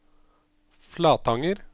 Flatanger